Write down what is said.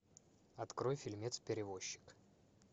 открой фильмец перевозчик